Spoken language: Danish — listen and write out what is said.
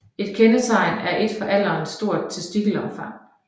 Et andet kendetegn er et for alderen stort testikelomfang